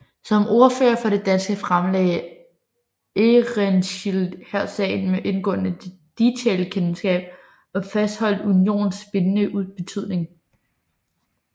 Som ordfører for de danske fremlagde Ehrenschild her sagen med indgående detailkendskab og fastholdt unionens bindende betydning